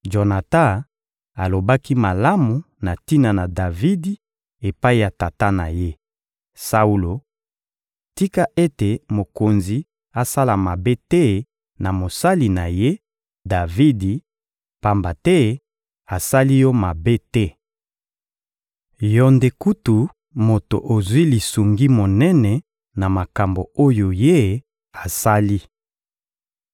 Jonatan alobaki malamu na tina na Davidi epai ya tata na ye, Saulo: «Tika ete mokonzi asala mabe te na mosali na ye, Davidi, pamba te asali yo mabe te. Yo nde kutu moto ozwi lisungi monene na makambo oyo ye asali.